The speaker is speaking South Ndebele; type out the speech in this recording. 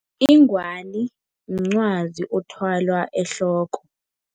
Ingwazi mncwazi othwalwa ehloko.